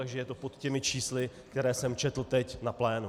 Takže je to pod těmi čísly, které jsem četl teď na plénu.